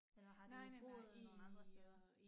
Eller har du boet nogen andre steder